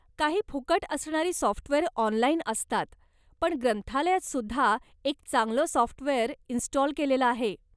काही फुकट असणारी सॉफ्टवेअर ऑनलाइन असतात पण ग्रंथालयात सुद्धा एक चांगलं सॉफ्टवेअर इंस्टॉल केलेलं आहे.